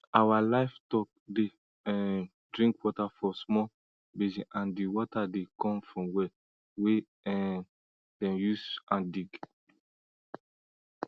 our livestock dey um drink water for small basin and di water dey come from well wey um dem use hand dig